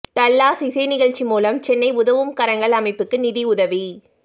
Dallas இசை நிகழ்ச்சி மூலம் சென்னை உதவும் கரங்கள் அமைப்புக்கு நிதியுதவி